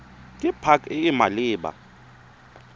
ke pac e e maleba